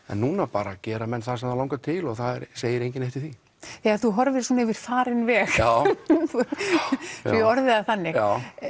en núna bara gera menn það sem þá langar til og það segir enginn neitt við því þegar þú horfir svona yfir farinn veg já svo ég orði það þannig